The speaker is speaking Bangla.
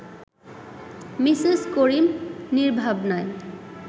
মিসেস করিম নির্ভাবনায়